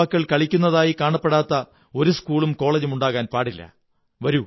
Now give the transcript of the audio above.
നമ്മുടെ യുവാക്കൾ കളിക്കുന്നതായി കാണപ്പെടാത്ത ഒരു സ്കൂളും കോളജും ഉണ്ടാകാൻ പാടില്ല